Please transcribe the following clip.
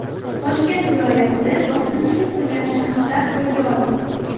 Toshkent viloyatida bosqinchilik qilgan shaxslar qo‘lga olindi.